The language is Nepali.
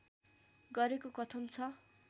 गरेको कथन छ